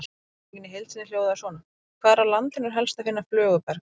Spurningin í heild sinni hljóðaði svona: Hvar á landinu er helst að finna flöguberg?